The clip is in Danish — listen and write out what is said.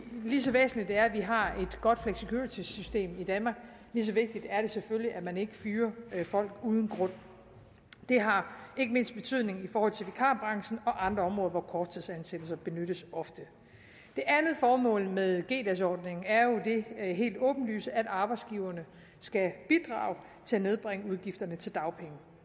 lige så væsentligt det er at vi har et godt flexicuritysystem i danmark lige så vigtigt er det selvfølgelig at man ikke fyrer folk uden grund det har ikke mindst betydning i forhold til vikarbranchen og andre områder hvor korttidsansættelser benyttes ofte det andet formål med g dagsordningen er jo det helt åbenlyse at arbejdsgiverne skal bidrage til at nedbringe udgifterne til dagpenge